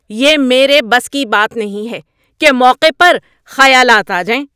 یہ میرے بس کی بات نہیں ہے کہ موقع پر خیالات آ جائیں۔